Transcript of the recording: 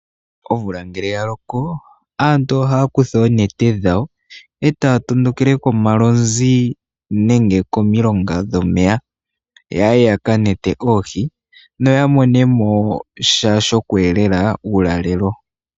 Omvula ngele ya loko aantu ohaya kutha oonete dhawo etaya tondokele komalozi nenge komilonga dhomeya yaye yaka nete oohi noya mone mosha sho kweelela uulalelo.